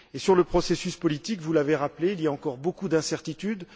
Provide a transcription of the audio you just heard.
Sur le processus politique, vous l'avez rappelé, il y a encore beaucoup d'incertitudes.